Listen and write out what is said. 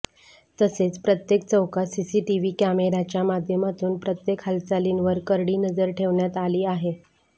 तसेच प्रत्येक चौकात सीसीटीव्ही कॅमेराच्या माध्यमातून प्रत्येक हालचालींवर करडी नजर ठेवण्यात आली आहे